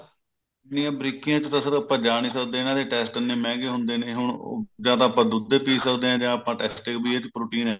ਇੰਨੀਆ ਬਰੀਕੀਆ ਚ ਤਾਂ sir ਆਪਾਂ ਜਾ ਨਹੀਂ ਸਕਦੇ ਇਹਨਾਂ ਦੇ test ਇੰਨੇ ਮਹਿੰਗੇ ਹੁੰਦੇ ਨੇ ਹੁਣ ਉਹ ਜਾ ਤਾਂ ਆਪਾਂ ਦੁੱਧ ਪੀ ਸਕਦੇ ਆ ਜਾ ਆਪਾਂ test ਏ ਵੀ ਇਹਦੇ ਚ protein ਹੈਗਾ